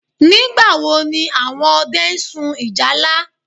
Nígbàwo ni àwọn ọdẹ n sun ìjálá?